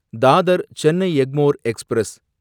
Dadar Chennai Egmore express